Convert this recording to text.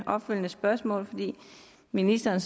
opfølgende spørgsmål fordi ministeren